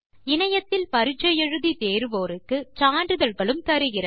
இணையத்தில் பரிட்சை எழுதி தேர்வோருக்கு சான்றிதழ்களும் தருகிறது